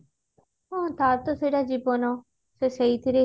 ହଁ ତାର ତ ସେଟା ଜୀବନ ସେ ସେଇଥିରେ